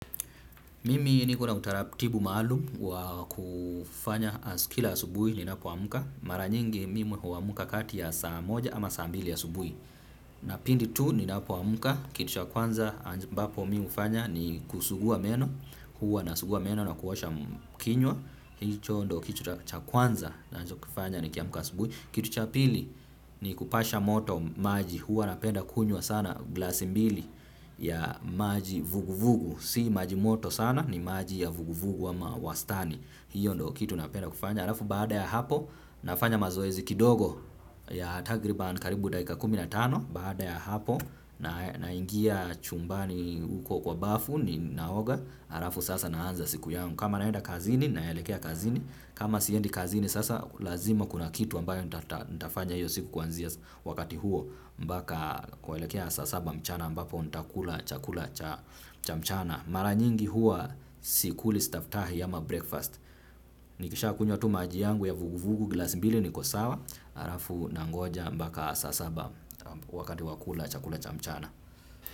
Mimi nikona utaratibu maalum wa kufanya kila asubuhi ninapoamka. Mara nyingi mimi huamka kati ya saa moja ama saa mbili ya subuhi. Na pindi tu ninapoamka kitu cha kwanza ambapo mimi hufanya ni kusugua meno. Huwa nasugua meno na kuosha kinywa. Hicho ndio kitu cha kwanza ninachokifanya nikiamka asubuhi. Kitu cha pili ni kupasha moto maji. Huwa napenda kunywa sana glasi mbili ya maji vuguvugu. Si maji moto sana ni maji ya vuguvugu ama wastani. Hiyo ndio kitu napenda kufanya. Alafu baada ya hapo nafanya mazoezi kidogo ya takriban karibu dakika kumi na tano. Baada ya hapo naingia chumbani uko kwa bafu ninaoga alafu sasa naanza siku yangu. Kama naenda kazini naelekea kazini. Kama siendi kazini sasa lazima kuna kitu ambayo nitafanya hiyo siku kuanzia wakati huo mpaka kuelekea saa saba mchana ambapo nitakula chakula cha cha mchana mara nyingi huwa sikuli staftahi ama breakfast nikishakunywa tu maji yangu ya vuguvugu glasi mbili niko sawa halafu nangoja mbaka saa saba wakati wa kula chakula cha mchana.